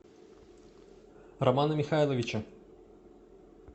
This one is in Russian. романа михайловича